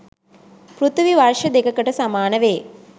පෘථිවි වර්ෂ දෙකකට සමානවේ.